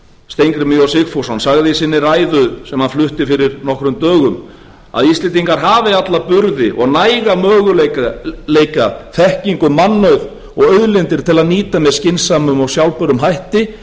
steingrímur j sigfússon sagði í sinni ræðu sem hann flutti fyrir nokkrum dögum að íslendingar hafi alla burði og næga möguleika þekkingu mannauð og auðlindir til að nýta með skynsömum og sjálfbærum hætti